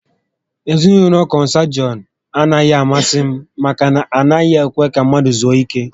Ezinaụlọ kọnsangwiin a naghị amasị m maka na ha anaghị ekwe ka mmadụ zuo ike